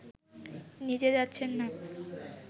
নিজে যাচ্ছেন না